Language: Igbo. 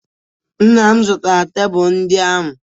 Nna m zụtara tebụl ndị ahụ.